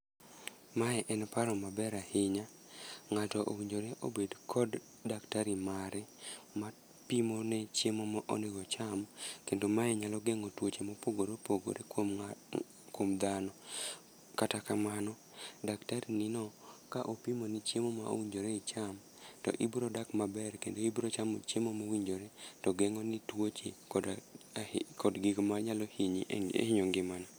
Mae en paro maber ahinya. Ngáto owinjore obed kod daktari mare, mapimo ne chiemo ma onego ocham. Kendo mae nyalo gengó twoche ma opogore opogore kuom kuom dhano. Kata kamano, daktari ni no ka opimo ni chiemo ma owinjore icham, to ibiro dak maber, kendo ibiro chamo chiemo ma owinjore. To gengó ni tuoche koda gik manyalo hinyi, hinyo ngimana